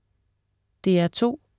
DR2: